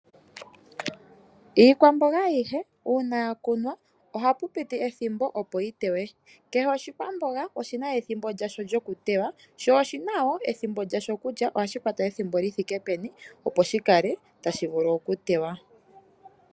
Iikwamboga ayihe uuna ya kunwa ohapu piti ethimbo, opo yi teywe. Kehe oshikwamboga oshi na ethimbo lyasho lyokuteywa sho oshi na wo ethimbo lyasho kutya ohashi kwata ethimbo li thike peni, opo shi kale tashi vulu okuteywa.